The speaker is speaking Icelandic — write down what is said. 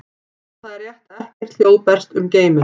Já, það er rétt að ekkert hljóð berst um geiminn.